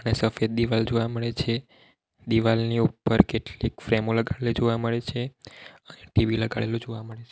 સફેદ દિવાલ જોવા મળે છે દિવાલની ઉપર કેટલીક ફ્રેમો લગાડેલી જોવા મળે છે અને ટી_વી લગાડેલુ જોવા મળે છે.